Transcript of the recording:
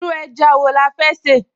Irú ẹja wo la fẹ́ sè?